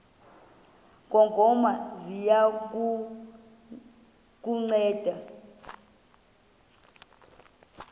ngongoma ziya kukunceda